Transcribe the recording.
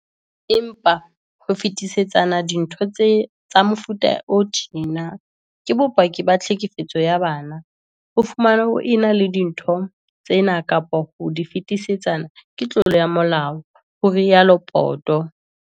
"Empa, ho fetisetsana dintho tsa mefuta o tjena ke bopaki ba tlhekefetso ya bana. Ho fumanwa o ena le dintho tsena kapa ho di fetisetsana ke tlolo ya molao," ho rialo Poto.